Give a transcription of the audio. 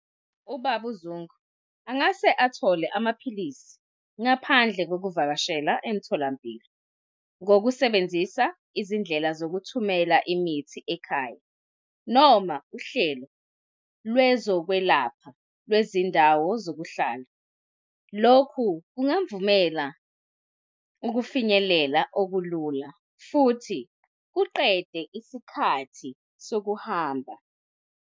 Ubaba uZungu angase athole amaphilisi ngaphandle kokuvakashela emtholampilo ngokusebenzisa izindlela zokuthumela imithi ekhaya, noma uhlelo lwezokwelapha lwezindawo zokuhlala. Lokhu kungamvumela ukufinyelela okulula futhi kuqedwe isikhathi sokuhamba.